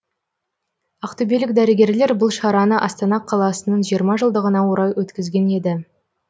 ақтөбелік дәрігерлер бұл шараны астана қаласының жиырма жылдығына орай өткізген еді